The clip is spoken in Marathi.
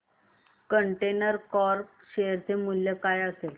कंटेनर कॉर्प शेअर चे मूल्य काय असेल